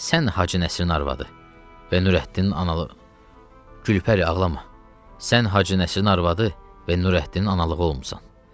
Sən Hacı Nəsrinin arvadı və Nurəddinin analığı olmusan.